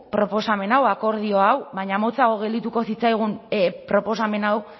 proposamen hau akordio hau baina motzago gelditu zitzaigun proposamen hau